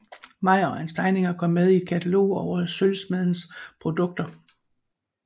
Meyer og hans tegninger kom med i et katalog over sølvsmediens produkter